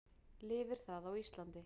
Lifir það á Íslandi?